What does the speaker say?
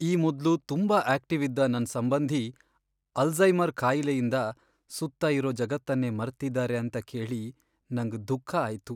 ಈ ಮೊದ್ಲು ತುಂಬಾ ಆಕ್ಟಿವ್ ಇದ್ದ ನನ್ ಸಂಬಂಧಿ ಅಲ್ಝೈಮರ್ ಕಾಯಿಲೆಯಿಂದ ಸುತ್ತ ಇರೋ ಜಗತ್ತನ್ನೇ ಮರ್ತಿದ್ದಾರೆ ಅಂತ ಕೇಳಿ ನಂಗ್ ದುಃಖ ಆಯ್ತು.